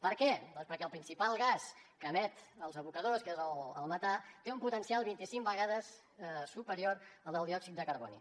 per què doncs perquè el principal gas que emeten els abocadors que és el metà té un potencial vint i cinc vegades superior al del diòxid de carboni